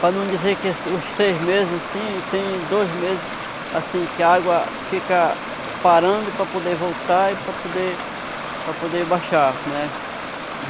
Para não dizer que os seis meses assim, tem dois meses assim que a água fica parando para poder voltar e para poder para poder baixar, né?